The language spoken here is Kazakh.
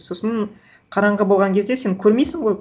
сосын қараңғы болған кезде сен көрмейсің ғой